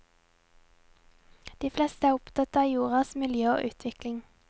De fleste er opptatt av jordas miljø og utvikling.